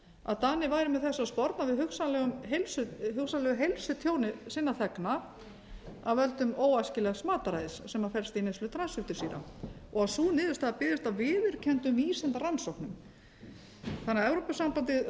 að danir væru með þessu að sporna við hugsanlegu heilsutjóni sinna þegna af völdum óæskilegs mataræðis sem felst í neyslu transfitusýra og sú niðurstaða byggðist á viðurkenndum vísindarannsóknum þannig að evrópusambandið